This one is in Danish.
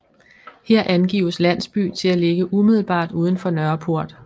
Her angives landsby til at ligge umiddelbart udenfor Nørreport